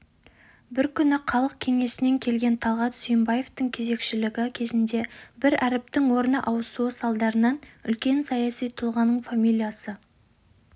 бір күні халық кеңесінен келген талғат сүйінбаевтың кезекшілігі кезінде бір әріптің орны ауысуы салдарынан үлкен саяси тұлғаның фамилиясы